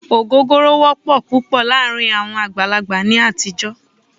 Ògógóró wọ́pọ̀ púpọ̀ láàárín àwọn àgbàlagbà ní àtijọ́.